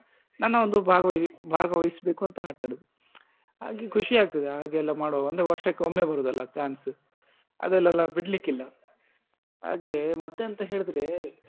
ನನ್ನ ಒಂದು ಭಾಗವೈ~ ಭಾಗವಹಿಸ್ಬೇಕಂತ ಆಟ ಆಡುದು ಹಾಗೆ ಖುಷಿ ಅಗ್ತದೆ ಹಾಗೆಲ್ಲಾ ಮಾಡುವಾಗ ಅಂದ್ರೆ ವರ್ಷಕ್ಕೊಮ್ಮೆ ಬರುದಲ್ಲ chance ಅದ್ರಲ್ಲೆಲ್ಲ ಬಿಡ್ಲಿಕಿಲ್ಲ ಹಾಗೆ ಮತ್ತೇಂತ ಹೇಳಿದ್ರೆ.